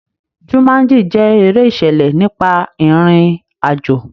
Jumanji jẹ́ eré ìṣẹ̀lẹ̀ nípa ìrìn àjò.